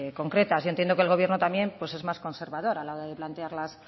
concretas yo entiendo que el gobierno también pues es más conservador a la hora de plantear